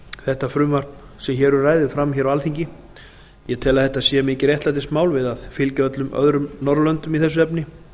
þetta frumvarp sem hér um ræðir fram hér á alþingi ég tel að þetta sé mikið réttlætismál við að fylgja öllum öðrum norðurlöndum í þessu efni